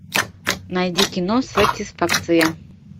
найди кино сатисфакция